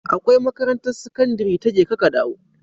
Akwai makarantar sakandari ta jeka ka dawo